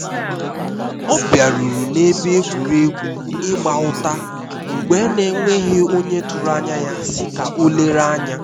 ọ biaruru na ebe egwuregwu ịgba ụta mgbe n'enweghi onye tụrụ anya ya si ka o lere anya